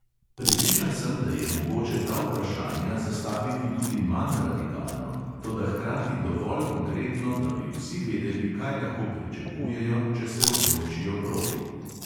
Prepričan sem, da je mogoče ta vprašanja zastaviti tudi manj radikalno, toda hkrati dovolj konkretno, da bi vsi vedeli, kaj lahko pričakujejo, če se odločijo proti.